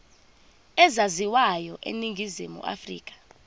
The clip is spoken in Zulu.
ezaziwayo eningizimu afrika